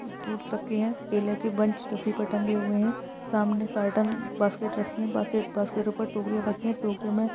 Fruits रखे हुए है। केले बंच पीछे टंगे हुए है। सामने कॉटन बास्केट रखी है। बास्केट के ऊपर टोकरिया रखी हैं टोकरियों मे --